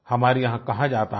हमारे यहां कहा जाता है